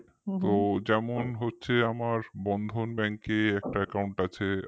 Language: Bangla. যেমন হচ্ছে আমার Bandhan Bank এ একটা account আছে